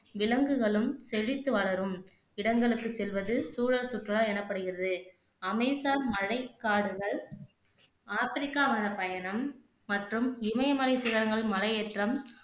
விலங்குகளும் செழித்து வளரும் இடங்களுக்கு செல்வது சூழல் சுற்றுலா எனப்படுகிறது அமேசான் மழைக்காடுகள், ஆப்பிரிக்கா மலைப்பயணம் மற்றும் இமயமலை சிகரங்களில் மலையேற்றம்